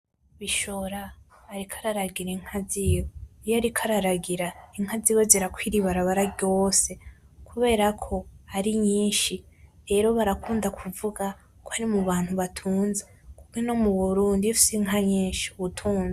Bishora ariko araragira inka ziwe. Iyo ariko araragira, inka ziwe zirakwira ibarabara ryose kubera ko ari nyinshi. Rero barakunda kuvuga ko ari mu bantu batunze, kuk' ino mu burundi iy'ufise inka nyinshi ub' utunze.